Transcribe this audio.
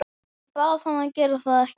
Ég bað hann að gera það ekki.